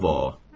Kavo!